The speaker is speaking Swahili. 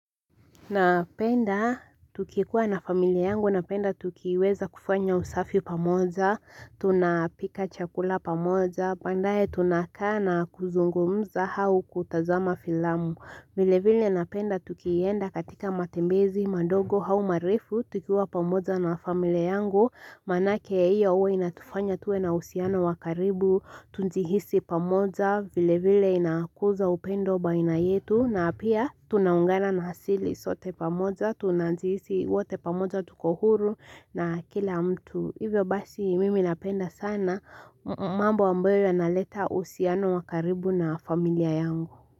Napenda, tukikuwa na familia yangu, napenda tukiweza kufanya usafi pamoja, tunapika chakula pamoja, bandaye tunakana kuzungumza hau kutazama filamu vile vile napenda tukiienda katika matembezi madogo hau marifu tukiwa pamoja na familia yangu Manake ya iyo uwe inatufanya tuwe na usiano wakaribu tunjihisi pamoja vile vile inakuza upendo baina yetu na pia tunaungana na hasili sote pamoja tunajihisi wote pamoja tukohuru na kila mtu Hivyo basi mimi napenda sana mambo ambayo yanaleta usiano wakaribu na familia yangu.